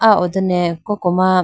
ah ho done koko ma.